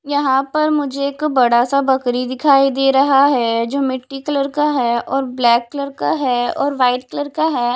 यहां पर मुझे एक बड़ा सा बकरी दिखाई दे रहा है जो मिट्टी कलर का है और ब्लैक कलर का है और वाइट कलर का है।